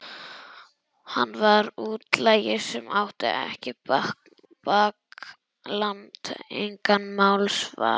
Hann var útlagi sem átti ekkert bakland, engan málsvara.